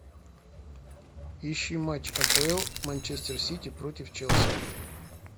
ищи матч апл манчестер сити против челси